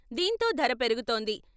దీంతో ధర పెరుగుతోంది.